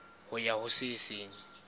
ho ya ho se seng